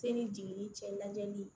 Se ni jigini cɛ lajɛli